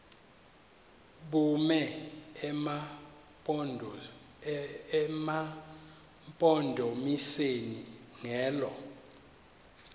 bume emampondomiseni ngelo